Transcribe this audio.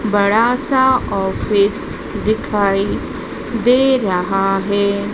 बड़ा सा ऑफिस दिखाइए दे रहा है।